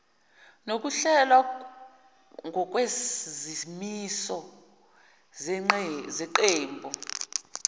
nokuhlelwa ngokwezimiso zeqembu